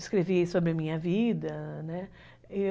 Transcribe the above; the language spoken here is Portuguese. Escrevi sobre a minha vida, né?